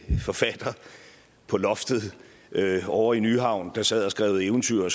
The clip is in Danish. forfatter på loftet ovre i nyhavn der sad og skrev eventyr og